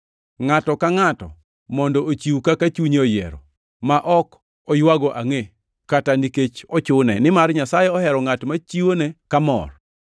Ngʼato ka ngʼato mondo ochiw kaka chunye oyiero, ma ok oywago angʼe, kata nikech ochune, nimar Nyasaye ohero ngʼat ma chiwone ka mor.